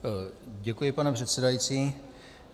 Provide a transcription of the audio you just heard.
Děkuji, pane předsedající.